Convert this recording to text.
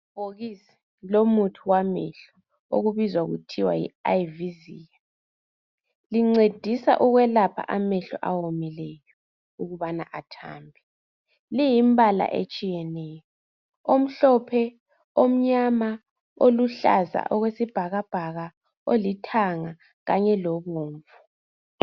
Libhokisi lomuthi wamehlo okubizwa kuthiwa yi Ivizia lincedisa ukwelapha amehlo awomileyo ukubana athambe liyimbala etshiyeneyo omhlophe omnyama oluhlaza okwesibhakabhaka olithanga kanye lobomvu